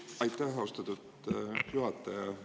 Aitäh, austatud juhataja!